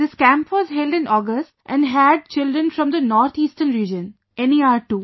This camp was held in August and had children from the North Eastern Region, NER too